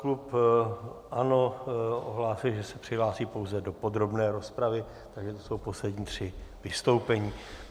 Klub ANO ohlásil, že se přihlásí pouze do podrobné rozpravy, takže to jsou poslední tři vystoupení.